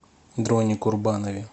дроне курбанове